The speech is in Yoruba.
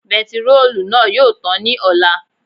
Bentiróòlù náà yóò tàn ní ọ̀la